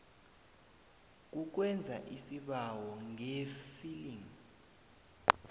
kukwenza isibawo ngeefiling